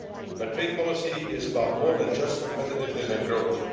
But trade policy is about more than just competitiveness and growth.